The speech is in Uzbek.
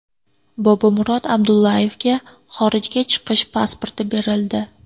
Bobomurod Abdullayevga xorijga chiqish pasporti berildi.